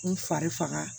N fari faga